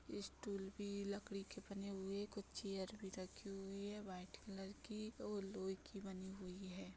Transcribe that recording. Stool भी लकड़ी के बने हुए कुछ चेयर भी रखी हुई है वाइट कलर की और लोहे की बनी हुई है।